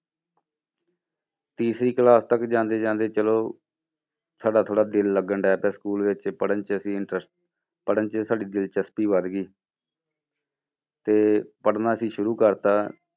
ਤੀਸਰੀ class ਤੱਕ ਜਾਂਦੇ ਜਾਂਦੇ ਚਲੋ ਸਾਡਾ ਥੋੜ੍ਹਾ ਦਿਲ ਲੱਗਣ school ਵਿੱਚ ਪੜ੍ਹਨ 'ਚ ਅਸੀਂ ਇੰਟਰ~ ਪੜ੍ਹਨ 'ਚ ਸਾਡੀ ਦਿਲਚਸਪੀ ਵੱਧ ਗਈ ਤੇ ਪੜ੍ਹਨਾ ਅਸੀਂ ਸ਼ੁਰੂ ਕਰ ਦਿੱਤਾ।